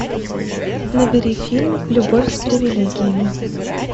набери фильм любовь с привилегиями